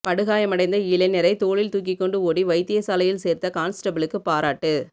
படுகாயமடைந்த இளைஞரை தோளில் தூக்கிக்கொண்டு ஓடி வைத்தியசாலையில் சேர்த்த கான்ஸ்டபிளுக்கு பாராட்டு